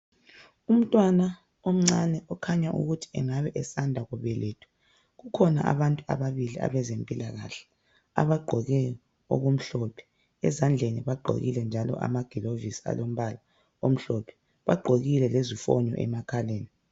Umntwana omncani okukhanya ukuthi engabe esanda kubelethwa. Kukhona abantu ababili abezempilakahle abagqoke okumhlophe .Ezandleni njalo bagqokile amagilovisi alombala omhlophe, bagqokile lezifonyo emakhaleni.